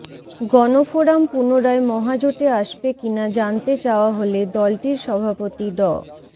গণফোরাম পুনরায় মহাজোটে আসবে কিনা জানতে চাওয়া হলে দলটির সভাপতি ড